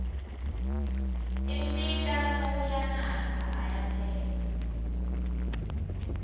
imbita sewuyanatsa ayaphela